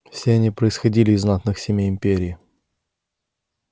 все они происходили из знатных семей империи